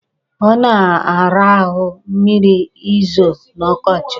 Ọ na-ara ahụ mmiri i zo n'ọkọchị.